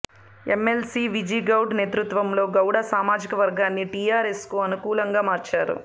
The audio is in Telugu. ఎమ్మెల్సీ విజిగౌడ్ నేతృత్వంలో గౌడ సామాజిక వర్గాన్ని టిఆర్ఎస్కు అనుకూ లంగా మార్చారు